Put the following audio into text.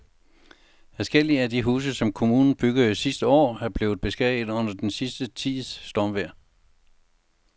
Adskillige af de huse, som kommunen byggede sidste år, er blevet beskadiget under den sidste tids stormvejr.